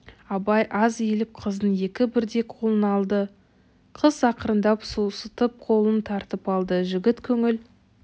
абай аз иіліп қыздың екі бірдей қолын алды қыз ақырындап сусытып қолын тартып алды жігіт көңіл